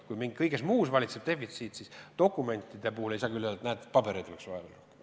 Kui meil kõiges muus valitseb defitsiit, siis seda küll ei saa öelda, et näed, pabereid oleks vaja rohkem.